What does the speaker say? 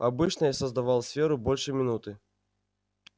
обычно я создавал сферу больше минуты